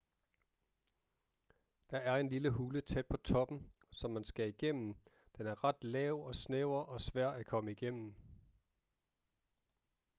der er en lille hule tæt på toppen som man skal igennem den er ret lav og snæver og svær at komme igennem